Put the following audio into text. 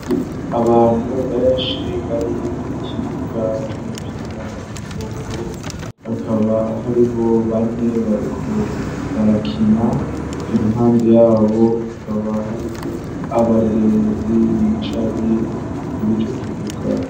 Abantu benshi bari kukibuga c'umupira w'amaboko hakaba hariho bane bariko barakina iruhande yabo hakaba hariho abarorerezi bicaye kur'icokibuga.